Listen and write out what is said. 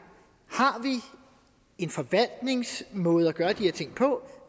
har vi en forvaltningsmåde at gøre de her ting på